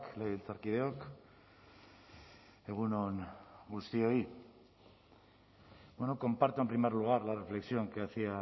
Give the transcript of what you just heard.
legebiltzarkideok egun on guztioi bueno comparto en primer lugar la reflexión que hacía